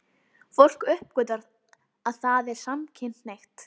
Fólk uppgötvar að það er samkynhneigt.